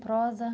Prosa?